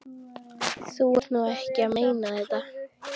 Þú ert nú ekki að meina þetta!